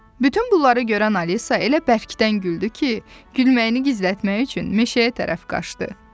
Bütün bunları görən Alisa elə bərkdən güldü ki, gülməyini gizlətmək üçün meşəyə tərəf qaçdı.